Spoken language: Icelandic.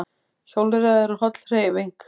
Hjólreiðar eru holl hreyfing